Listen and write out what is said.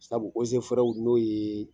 Sabu n'o ye